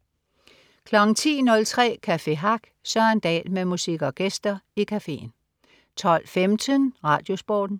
10.03 Café Hack. Søren Dahl med musik og gæster i cafeen 12.15 RadioSporten